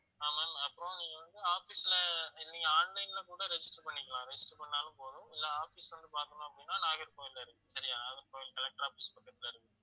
ஆமா அப்புறம் நீங்க வந்து office ல நீங்க online ல கூட register பண்ணிக்கலாம் register பண்ணாலும் போதும் இல்ல office வந்து பார்க்கணும் அப்படின்னா நாகர்கோவில்ல இருக்கு சரியா நாகர்கோவில் collector office பக்கத்துல இருக்கு